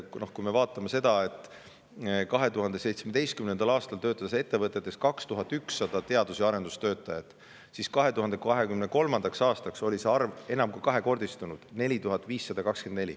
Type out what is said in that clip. Nimelt, 2017. aastal töötas ettevõtetes 2100 teadus- ja arendustöötajat, aga 2023. aastaks oli see arv enam kui kahekordistunud: 4524.